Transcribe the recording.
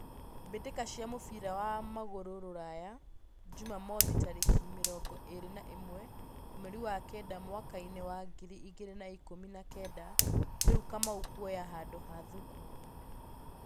Mbĩtĩka cia mũbira wa magũrũ Ruraya Jumamwothi tarĩki mĩrongo ĩrĩ na ĩmwe mweri wa kenda mwakainĩ wa ngiri igĩrĩ na ikũmi na kenda Rĩu Kamau kwoya handũ ha Thuku